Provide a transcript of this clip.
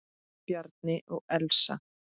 Bjarni og Elsa.